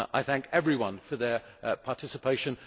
I thank everyone for their participation.